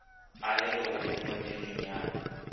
a le legodimong le lennyane